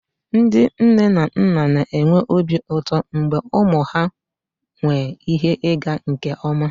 Ndị nne na nna na-enwe obi ụtọ ma ụmụ ha nwee ihe ịga nke ọma